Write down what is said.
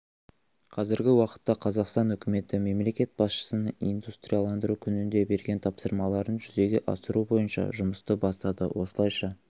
қазіргі уақытта қазақстан үкіметі мемлекет басшысының индустриаландыру күнінде берген тапсырмаларын жүзеге асыру бойынша жұмысты бастады осылайша